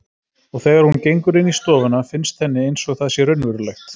Og þegar hún gengur inn í stofuna finnst henni einsog það sé raunverulegt.